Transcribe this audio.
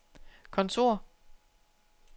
kontor